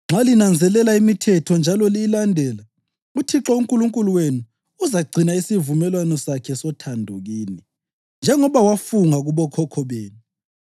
Nxa linanzelela limithetho njalo liyilandela, uThixo uNkulunkulu wenu uzagcina isivumelwano sakhe sothando kini, njengoba wafunga kubokhokho benu.